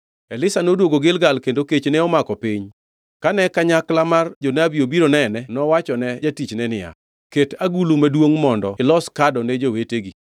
Elisha noduogo Gilgal kendo kech ne omako piny. Kane kanyakla mar jonabi obiro nene nowachone jatichne niya, “Ket agulu maduongʼ mondo ilos kado ne jowetegi.”